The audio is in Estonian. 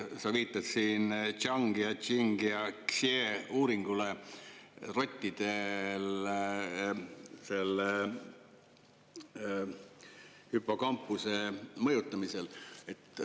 Sa viitad siin Zhangi, Cheni ja Xie uuringule rottide hippokampuse mõjutamise kohta.